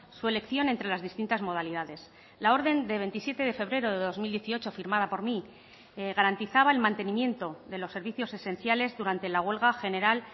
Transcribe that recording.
su elección entre las distintas modalidades la orden de veintisiete de febrero de dos mil dieciocho firmada por mí garantizaba el mantenimiento de los servicios esenciales durante la huelga general